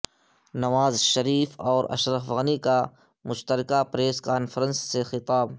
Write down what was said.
نواز شریف اور اشرف غنی کا مشترکہ پریس کانفرنس سے خطاب